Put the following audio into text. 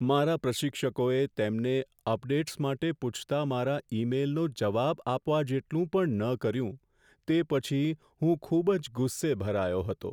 મારા પ્રશિક્ષકોએ તેમને અપડેટ્સ માટે પૂછતા મારા ઈમેઈલનો જવાબ આપવા જેટલું પણ ન કર્યું તે પછી હું ખૂબ જ ગુસ્સે ભરાયો હતો.